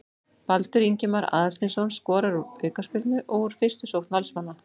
Baldur Ingimar Aðalsteinsson skorar úr aukaspyrnu og úr fyrstu sókn Valsmanna.